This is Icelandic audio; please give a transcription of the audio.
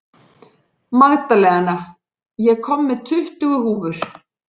Magdalena, ég kom með tuttugu húfur!